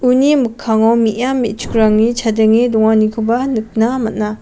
uni mikkango me·a me·chikrangni chadenge donganikoba nikna man·a.